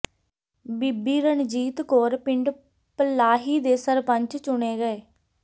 ਬੀਬੀ ਰਣਜੀਤ ਕੌਰ ਪਿੰਡ ਪਲਾਹੀ ਦੇ ਸਰਪੰਚ ਚੁਣੇ ਗਏ